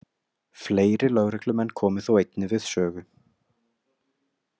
Fleiri lögreglumenn komu þó einnig við sögu.